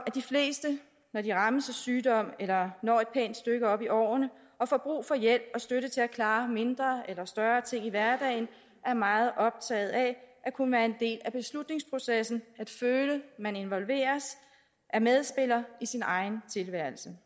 at de fleste når de rammes af sygdom eller når et pænt stykke op i årene og får brug for hjælp og støtte til at klare mindre eller større ting i hverdagen er meget optaget af at kunne være en del af beslutningsprocessen og at føle at man involveres er medspiller i sin egen tilværelse